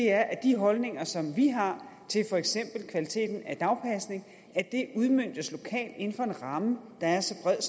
er at de holdninger som vi har til for eksempel kvaliteten af dagpasning udmøntes lokalt inden for en ramme der er så bred